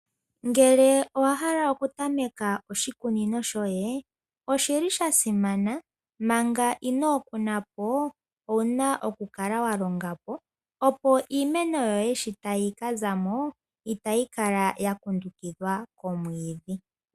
Ngele owahala okutameka oshikunino shoye , oshili shasimana manga inoo kunapo , owuna okukala walongapo opo iimeno yoye sho tayi kazamo , itayi kala yakundukidhwa komwiidhi.